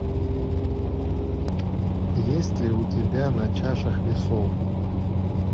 есть ли у тебя на чашах весов